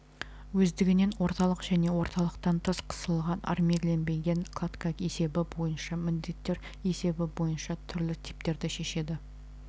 өздігінен орталық және орталықтан тыс қысылған армирленбенген кладка есебі бойынша міндеттер есебі бойынша түрлі типтерді шешеді